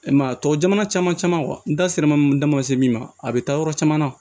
E ma ye a tɔgɔ jama caman caman n da sera ma se min ma a bɛ taa yɔrɔ caman na